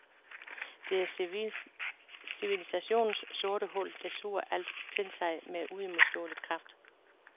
Det er civilisationens sorte hul, der suger alt til sig med uimodståelig kraft.